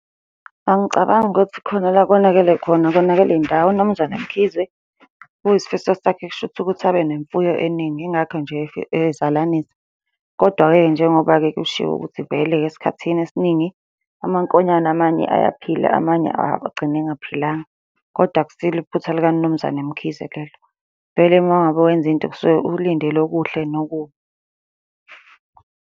Angicabangi ukuthi khona la okonakele khona, akonakele ndawo. UMnumzane Mkhize, kuyisifiso sakhe kushuthi ukuthi abe nemfuyo eningi. Yingakho nje ezalanisa, kodwa-ke njengoba-ke kushiwo ukuthi vele-ke esikhathi esiningi, amankonyane amanye ayaphila amanye agcine engaphilanga, kodwa akusilo iphutha lika Mnumzane Mkhize lelo. Vele uma ngabe wenza into kusuke ulindele okuhle nokubi.